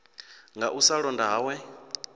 nga u sa londa hawe